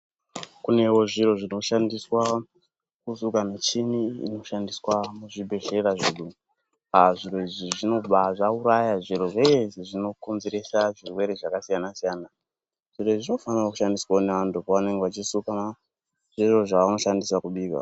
Kunewo zviro zvinoshandiswa kusuka michini inoshandiswa muzvibhedhlera zvedu zviro izvi zvinobva zvqurayq zviri zveshe zvinokonzeresa zvirwere zvakasiyana siyana zviro izvi zvinofanirawo kushqndiswa ngevanthu pavanenge veisuka zvevanoshandisa kubika.